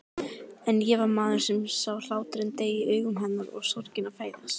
En ég var maðurinn sem sá hláturinn deyja í augum hennar og sorgina fæðast.